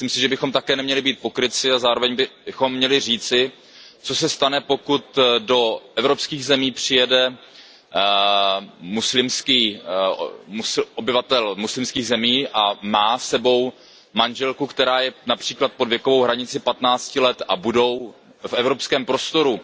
Ale myslím si, že bychom také neměli být pokrytci a zároveň bychom měli říci, co se stane, pokud do evropských zemí přijede obyvatel muslimských zemí a má s sebou manželku, která je například pod věkovou hranicí patnácti let, a budou v evropském prostoru